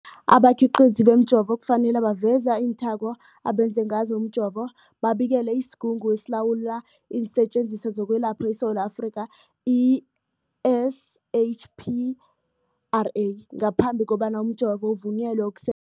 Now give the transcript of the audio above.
Abakhiqizi bemijovo kufanele baveze iinthako abenze ngazo umjovo, babikele isiGungu esiLawula iinSetjenziswa zokweLapha eSewula Afrika, i-SAHPRA, ngaphambi kobana umjovo uvunyelwe ukuse